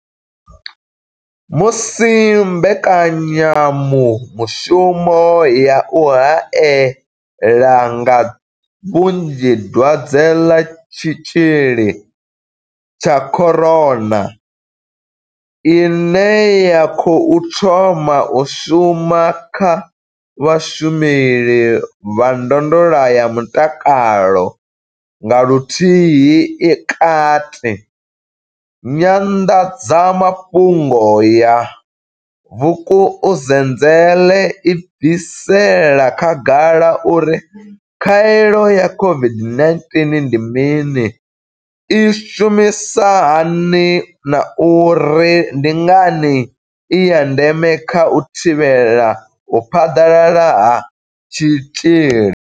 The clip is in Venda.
Musi mbekanya mushumo ya u hae la nga vhunzhi Dwadze ḽa Tshitzhili tsha corona COVID-19 ine ya khou thoma u shuma kha vhashumeli vha ndondolo ya mutakalo nga Luhuhi i kati, Nyanḓadza mafhungo ya Vukuzenzele i bvisela khagala uri khaelo ya COVID-19 ndi mini, i shumisa hani na uri ndi ngani i ya ndeme kha u thivhela u phaḓalala ha tshitzhili.